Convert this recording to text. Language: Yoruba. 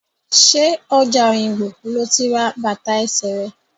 Ṣé ọjà Òyìngbò lo ti ra bàtà ẹsẹ rẹ̀?